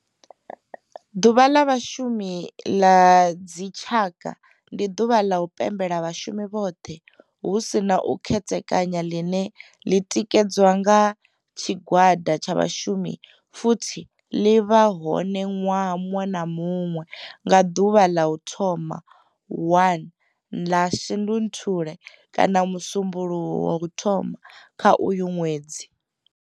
Ḓuvha la Vhashumi la dzi tshaka, ndi duvha la u pembela vhashumi vhothe hu si na u khethekanya line li tikedzwa nga tshigwada tsha vhashumi futhi li vha hone nwaha munwe na munwe nga duvha la u thoma 1 la Shundunthule kana musumbulowo wa u thoma kha uyo nwedzi.